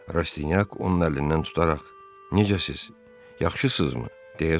Rastinyak onun əlindən tutaraq: necəsiz, yaxşısızmı, deyə soruşdu.